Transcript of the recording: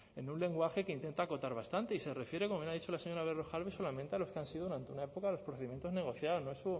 en un lenguaje que intenta acotar bastante y se refiere como lo ha dicho la señora berrojalbiz solamente a los que han sido durante una época los procedimientos negociados